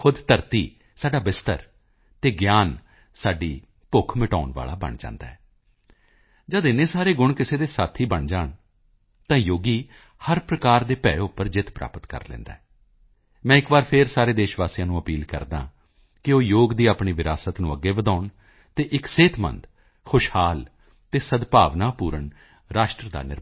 ਖੁਦ ਧਰਤੀ ਸਾਡਾ ਬਿਸਤਰਾ ਅਤੇ ਗਿਆਨ ਸਾਡੀ ਭੁੱਖ ਮਿਟਾਉਣ ਵਾਲਾ ਬਣ ਜਾਂਦਾ ਹੈ ਜਦ ਏਨੇ ਸਾਰੇ ਗੁਣ ਕਿਸੇ ਦੇ ਸਾਥੀ ਬਣ ਜਾਣ ਤਾਂ ਯੋਗੀ ਹਰ ਪ੍ਰਕਾਰ ਦੇ ਭੈਅ ਉੱਪਰ ਜਿੱਤ ਪ੍ਰਾਪਤ ਕਰ ਲੈਂਦਾ ਹੈ ਮੈਂ ਇੱਕ ਵਾਰੀ ਫਿਰ ਸਾਰੇ ਦੇਸ਼ ਵਾਸੀਆਂ ਨੂੰ ਅਪੀਲ ਕਰਦਾ ਹਾਂ ਕਿ ਉਹ ਯੋਗ ਦੀ ਆਪਣੀ ਵਿਰਾਸਤ ਨੂੰ ਅੱਗੇ ਵਧਾਉਣ ਅਤੇ ਇੱਕ ਸਿਹਤਮੰਦ ਖੁਸ਼ਹਾਲ ਅਤੇ ਸਦਭਾਵਨਾਪੂਰਨ ਰਾਸ਼ਟਰ ਦਾ ਨਿਰਮਾਣ ਕਰਨ